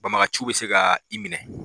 Banbagaciw bɛ se ka i minɛ.